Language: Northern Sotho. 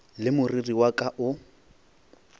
le moriri wa ka o